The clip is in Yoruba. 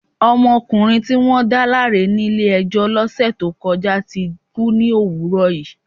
Ọmọkùnrin ti wọ́n dáláre ní Ilé ẹjọ́ ni òsè tó kọjá ti kú ni òwúrọ̀ yi